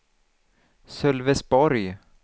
Sölvesborg